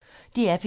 DR P1